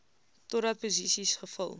totdat posisies gevul